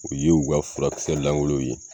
U ye u ka furakisɛ lankolon ye.